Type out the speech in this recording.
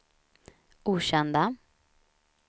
okända